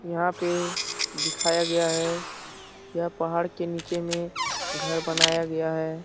यहाँ पे दिखाया गया है यह पहाड़ के नीचे में घर बनाया गया है।